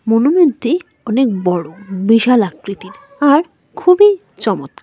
মনুমেন্টটি অনেক বড় বিশাল আকৃতির আর খুবই চমৎকা--